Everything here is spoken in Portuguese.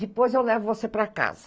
Depois eu levo você para casa.